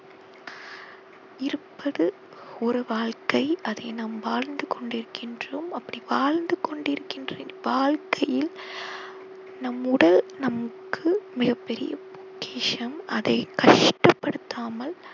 இருப்பது ஒரு வாழ்க்கை அதை நாம் வாழ்ந்து கொண்டிருக்கின்றோம் அப்படி வாழ்ந்து கொண்டிருக்கின்ற வாழ்க்கையில் நம் உடல் நமக்கு மிகப்பெரிய பொக்கிஷம் அதை கஷ்டப்படுத்தாமல்